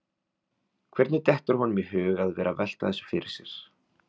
Hvernig dettur honum í hug að vera að velta þessu fyrir sér?